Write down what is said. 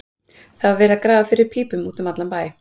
Það var verið að grafa fyrir pípum út um allan bæ.